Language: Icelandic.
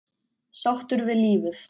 Sáttur við lífið.